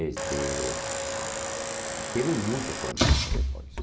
Este... Teve muitos conjuntos depois.